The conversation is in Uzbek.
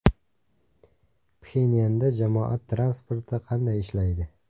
Pxenyanda jamoat transporti qanday ishlaydi?.